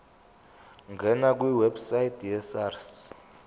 ngena kwiwebsite yesars